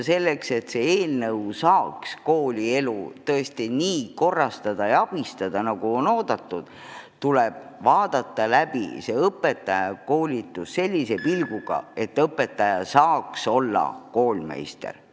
Selleks, et selle seaduse abil saaks koolielu tõesti nii korrastada, nagu on oodatud, tuleb õpetajakoolitus üle vaadata sellise pilguga, et õpetaja peab saama olla koolmeister.